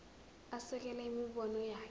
asekele imibono yakhe